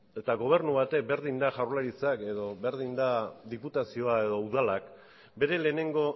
eta gobernu batek berdin du jaurlaritzak edo berdin du diputazioa edo udalak bere lehenengo